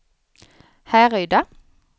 Härryda